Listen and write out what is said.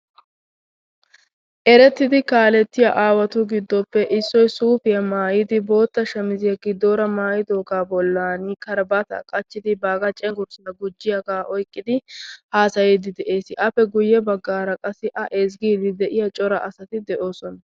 Erettidi kaalettiya aawatu giddoppe issoy suufiya maayyidi bootta shamiziya giddoora mayyidooga bollan karbaata qachchidi, baaga cenggurssa gujjiyaaga oyqqidi haasayde de'ees. Appe guyye baggara qassi A ezggide de'iya cora asati de'oosona.